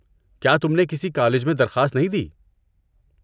کیا تم نے کسی کالج میں درخواست نہیں دی؟